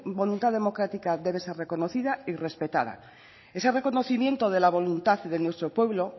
voluntad democrática debe ser reconocida y respetada ese reconocimiento de la voluntad y de nuestro pueblo